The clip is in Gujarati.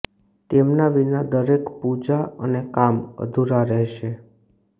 તેમના વિના દરેક પૂજા અને કામ અધૂરા રહેશે